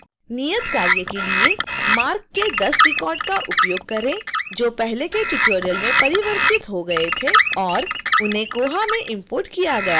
नियतकार्य के लिए